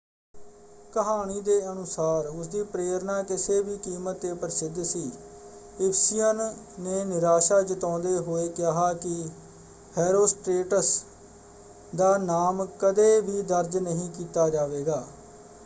ਕਹਾਣੀ ਦੇ ਅਨੁਸਾਰ ਉਸਦੀ ਪ੍ਰੇਰਨਾ ਕਿਸੇ ਵੀ ਕੀਮਤ 'ਤੇ ਪ੍ਰਸਿੱਧ ਸੀ। ਇਫਿਸੀਅਨ ਨੇ ਨਿਰਾਸ਼ਾ ਜਤਾਉਂਦੇ ਹੋਏ ਕਿਹਾ ਕਿ ਹੈਰੋਸਟ੍ਰੇਟਸ ਦਾ ਨਾਮ ਕਦੇ ਵੀ ਦਰਜ ਨਹੀਂ ਕੀਤਾ ਜਾਵੇਗਾ।